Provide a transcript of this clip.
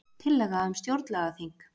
Tillaga um stjórnlagaþing